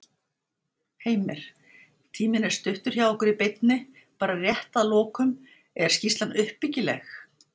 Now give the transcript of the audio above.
Heimir: Tíminn er stuttur hjá okkur í beinni. bara rétt að lokum, er skýrslan uppbyggileg?